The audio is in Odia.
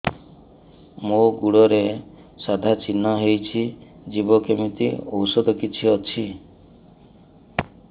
ମୋ ଗୁଡ଼ରେ ସାଧା ଚିହ୍ନ ହେଇଚି ଯିବ କେମିତି ଔଷଧ କିଛି ଅଛି